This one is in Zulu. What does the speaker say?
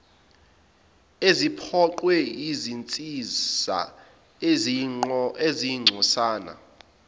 eziphoqwe yizinsiza eziyingcosana